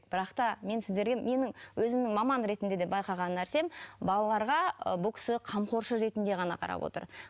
бірақ та мен сіздерге менің өзімнің маман ретінде де байқаған нәрсем балаларға і бұл кісі қамқоршы ретінде ғана қарап отыр